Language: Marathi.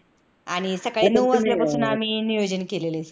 आणि सकाळी नऊ वाजल्यापासून आम्ही नियोजन केलेलं आहे.